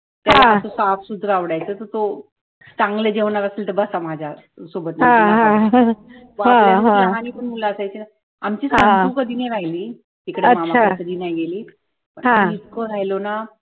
त्याला फक्त पाव सूत्र आवडायचं तर तो, चांगल जेवणार असलं तर बसा माझ्या सोबत मुलं असायचीना आमची संकु कधी नाय राहिली तिकडे मामा कडे कधी नाय गेली आम्ही इतका राहिलो ना